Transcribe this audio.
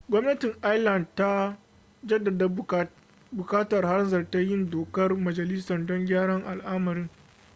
gwamnatin ireland tana jaddada buƙatar hanzarta yin dokar majalisa don gyara al'amarin